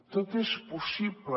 tot és possible